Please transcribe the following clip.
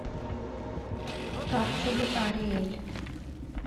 капсулы ариэль